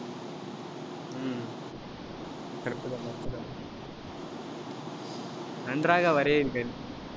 நன்றாக வரையுங்கள்.